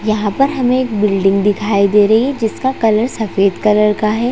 यहाँ पर हमें एक बिल्डिंग दिखाई दे रही है जिसका कलर सफ़ेद कलर का है।